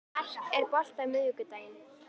Mark, er bolti á miðvikudaginn?